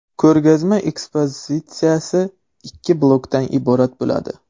Ko‘rgazma ekspozitsiyasi ikki blokdan iborat bo‘ladi.